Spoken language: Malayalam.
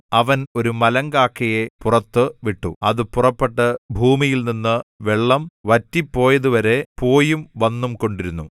അവൻ ഒരു മലങ്കാക്കയെ പുറത്തു വിട്ടു അത് പുറപ്പെട്ട് ഭൂമിയിൽനിന്ന് വെള്ളം വറ്റിപ്പോയതുവരെ പോയും വന്നും കൊണ്ടിരുന്നു